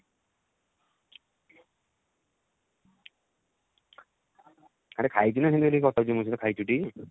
ଆରେ ଖାଇଛୁ ନା ସେମିତି ଗୋଟେ କଥା ହଉଛୁ ମୋ ସହ ଖାଇଛୁ ଟି?